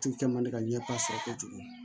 Tigi kɛ man di ka ɲɛ sɔrɔ kɛ cogo di